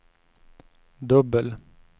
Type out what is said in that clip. dubbel